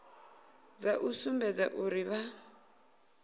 dza u sumbedza uri vha